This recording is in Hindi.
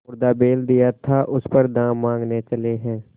मुर्दा बैल दिया था उस पर दाम माँगने चले हैं